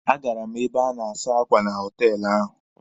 A gara m ebe a na-asa akwa na họtelụ ahụ.